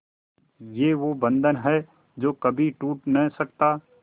ये वो बंधन है जो कभी टूट नही सकता